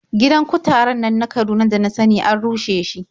Gidan kutaren nan na Kaduna da na sani an rushe shi.